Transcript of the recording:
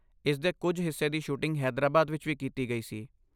ਇਸ ਦੇ ਕੁਝ ਹਿੱਸੇ ਦੀ ਸ਼ੂਟਿੰਗ ਹੈਦਰਾਬਾਦ ਵਿੱਚ ਵੀ ਕੀਤੀ ਗਈ ਸੀ।